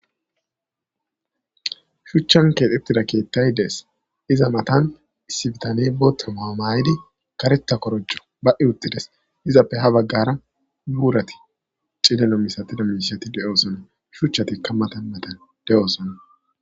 Shuchchan keexebtida keettay dees iza matan issibitane boota mahamayidi kareta korojjo ba'i uxides izappe ha baggara buurati cilleno misatida misyati de'oosona shuchchatikka matan matan de'oosona.